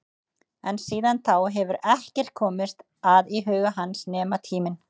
En síðan þá hefur ekkert komist að í huga hans nema tíminn.